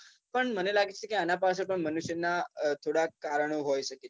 પણ મને લાગે છે કે આના પાછળ પણ મનુષ્યનાં થોડાં કારણો હોય શકે છે